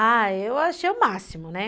Ah, eu achei o máximo, né?